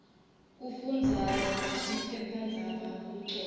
kufundaza liphephandzaba kumcoka